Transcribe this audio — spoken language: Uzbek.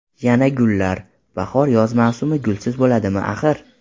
Yana gullar: bahor-yoz mavsumi gulsiz bo‘ladimi, axir?